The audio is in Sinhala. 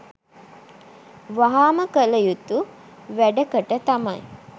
වහාම කල යුතු වැඩකට තමයි.